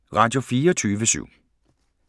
Radio24syv